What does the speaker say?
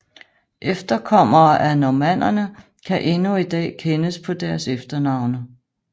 Efterkommere af normannerne kan endnu i dag kendes på deres efternavne